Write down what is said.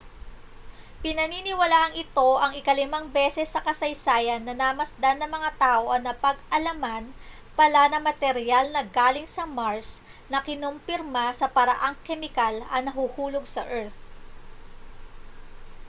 pinaniniwalaang ito ang ikalimang beses sa kasaysayan na namasdan ng mga tao ang napag-alaman pala na materyal na galing sa mars na kinompirma sa paraang kemikal ang nahuhulog sa earth